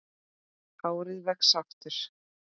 Hárið vex aftur.